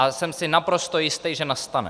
A jsem si naprosto jistý, že nastane.